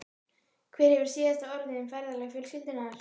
Hver hefur síðasta orðið um ferðalög fjölskyldunnar?